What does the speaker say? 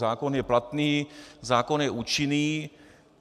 Zákon je platný, zákon je účinný.